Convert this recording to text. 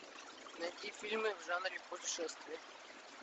найти фильмы в жанре путешествия